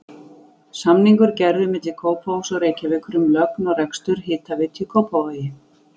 Samningur gerður milli Kópavogs og Reykjavíkur um lögn og rekstur hitaveitu í Kópavogi.